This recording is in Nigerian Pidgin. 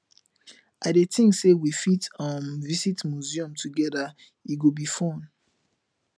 i dey think say we fit um visit museum together e go be fun